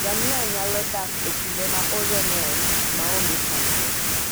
Ngamia nyalo dak e kinde ma oro ng'eny maonge chandruok.